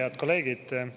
Head kolleegid!